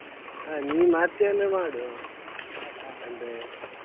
ಆ ನೀನ್ ಮಾಡ್ತಿಯಂದ್ರೆ ಮಾಡು ಅಂದ್ರೆ.